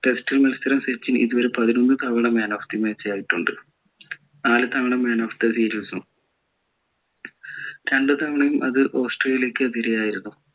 test മത്സരം സച്ചിൻ ഇതുവരെ പതിനൊന്ന് തവണ man of the match ആയിട്ടുണ്ട് നാല് തവണ man of the series ഉം രണ്ടു തവണയും അത് ഓസ്‌ട്രേലിയക്ക് എതിരെ ആയിരുന്നു